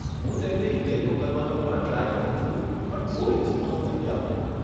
હું તેમને ઈમેલ મોકલવાનો પણ ટ્રાય કરું છું પણ કોઈ રિસ્પોન્સ નથી આવતો.